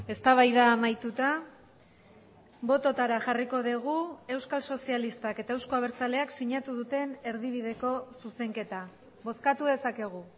eztabaida amaituta bototara jarriko dugu euskal sozialistak eta euzko abertzaleak sinatu duten erdibideko zuzenketa bozkatu dezakegu